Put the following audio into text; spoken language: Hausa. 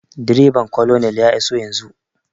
Direban colonel ya iso yanzun